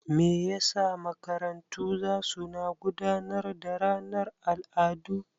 Me yasa makarantu zasu na gudanar da ranar al'adu?